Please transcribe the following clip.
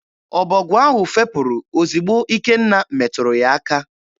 Ọbọgwụ ahụ fepụrụ ozigbo Ikenna meturu ya aka.